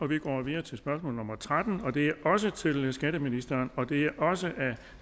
vi går videre til spørgsmål nummer tretten og det er også til skatteministeren og det er også af